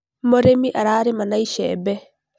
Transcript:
Mũrĩmi ararĩma na icembe